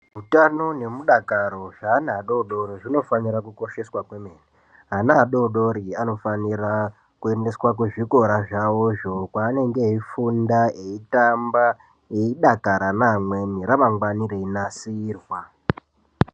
Utano nemudakoro weana adodori zvinofanira kukosheswa kwemene ana adodori anofanira kuendeswa kuzvikora zvavozvo kwaanenge eifunda veitamba eidakara neamweni ramangwani reinasirwa.